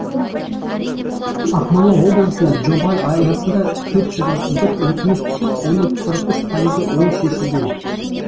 ақмола облысында жоба аясында төрт жүз отыз бір өтініш түсіп оның қырық үш пайызы оң шешілген